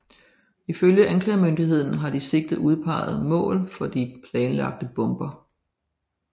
Ifølge anklagemyndigheden havde de sigtede udpeget mål for de planlagte bomber